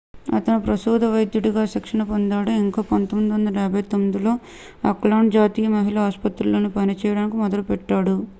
అతను ప్రసూతి వైద్యుడిగా శిక్షణ పొందాడు ఇంకా 1959లో ఆక్లాండ్ జాతీయ మహిళ ఆస్పత్రిలో పనిచేయడం మొదలుపెట్టాడు